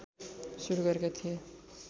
सुरू गरेका थिए